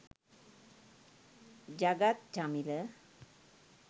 jagath chamila